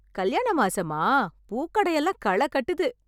கல்யாண மாசமா? பூக்கடையெல்லாம் களை கட்டுது.